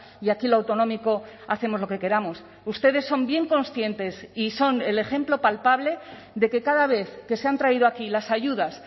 y aquí lo autonómico hacemos lo que queramos ustedes son bien conscientes y son el ejemplo palpable de que cada vez que se han traído aquí las ayudas